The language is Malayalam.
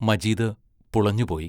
മജീദ് പുളഞ്ഞുപോയി.